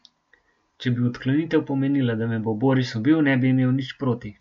Če bi odklonitev pomenila, da me bo Boris ubil, ne bi imel nič proti.